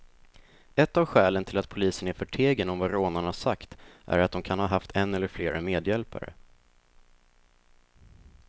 Ett av skälen till att polisen är förtegen om vad rånarna sagt är att de kan ha haft en eller flera medhjälpare.